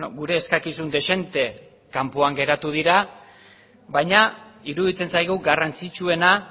gure eskakizun dezente kanpoan geratu dira baina iruditzen zaigu garrantzitsuena